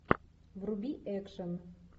вруби экшен